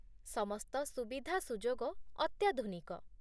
ସମସ୍ତ ସୁବିଧାସୁଯୋଗ ଅତ୍ୟାଧୁନିକ